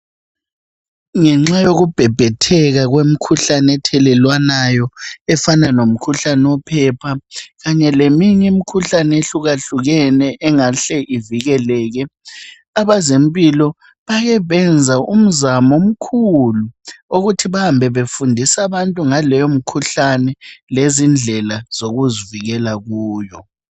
Ngenxa yokubhebhetheka kwemikhuhlane ethelelwanayo efana lomkhuhlane wophepha kanye leminye imikhuhlane ehluka hlukene engahle ivikeleke. Abazempilo bake benza umzamo mkhulu, wokuthi bahambe befundisa abantu ngale mkhuhlane lezindlela zokuzivikela kuyo.